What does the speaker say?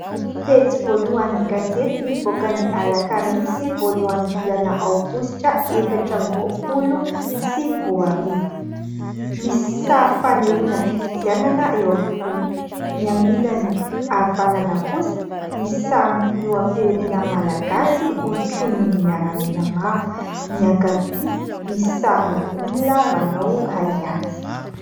Pejy voalohan'ny gazety nivoaka ny alakamisy voalohan'ny volana aogositra efatra amby roapolo sy roa arivo. Misy sary fanehoana fifidianana eo ampovoany. Ny amin'ny ilany havanana kosa misy sarin'ny filoham-pirenena Malagasy hotronon'ny miaramila maro. Ny ankavia misy sarina olona manao hay ady.